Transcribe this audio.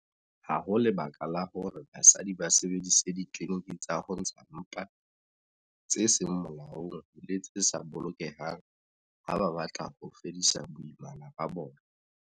Ha ho lebaka la hore basadi ba sebedise ditliliniki tsa ho ntsha mpa tse seng molaong le tse sa bolokehang ha ba batla ho fedisa boimana ba bona.